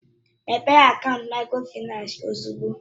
Mépee akaant Mikrofaịnsi ozugbo!